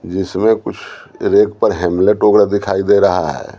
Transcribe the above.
जिसमें कुछ रेग पर हैमलेट वगैरह दिखाई दे रहा है।